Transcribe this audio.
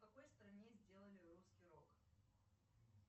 в какой стране сделали русский рок